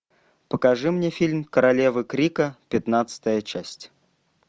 покажи мне фильм королевы крика пятнадцатая часть